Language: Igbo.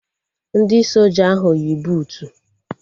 Ndị soja ahụ yi buutu